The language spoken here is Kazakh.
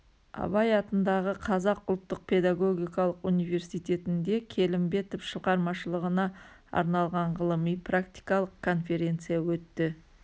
абай атындағы қазақ ұлттық педагогикалық университетінде келімбетов шығармашылығына арналған ғылыми-практикалық конференция өтті